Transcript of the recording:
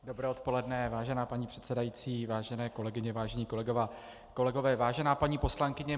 Dobré odpoledne, vážená paní předsedající, vážené kolegyně, vážení kolegové, vážená paní poslankyně.